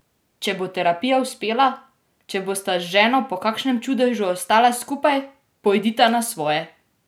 Če bo terapija uspela, če bosta z ženo po kakšnem čudežu ostala skupaj, pojdita na svoje!